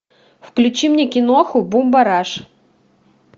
включи мне киноху бумбараш